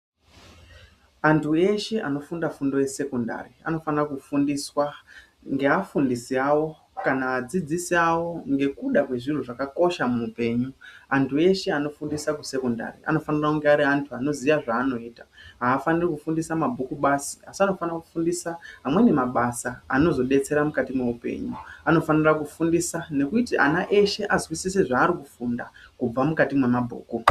Antu eshe anofunda fundo yesekendari anofane kufundiswa ngeafundisi avo kana adzidzisi avo ngekuda kwezviro zvakakosha muupenyu, antu eshee anofundisa kusekondari anofanira kunge ari antu anoziva zvaanoita haafaniri kufundisa mabhuku basi asi anofanire kufundisa amweni mabasa anozobetsera mukati mweupenyu, anofanira kufundisa nekuti ana eshee azwisise zvaarikufunda kubva mukati mwemabhuku.